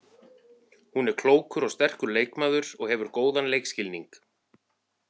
Hún er klókur og sterkur leikmaður og hefur góðan leikskilning.